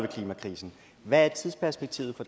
klimakrisen hvad er tidsperspektivet